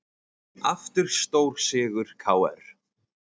Aftur stórsigur KR